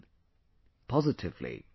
in positively